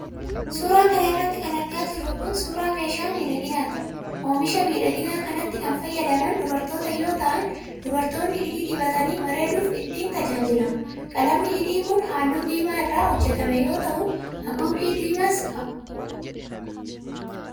Suura kana irratti kan argaa jirru kun, suura meeshaa miidhaginaati. Oomisha miidhaginaa kanatti kan fayyadaman ,dubartoota yoo ta'an , dubaroonni hidhii dibatanii bareeduuf ittiin tajaajilamu. Qalamni hidhii kun, haaluu diimaa irraa hojjatame yoo ta'u, haguuggii diimaas qaba.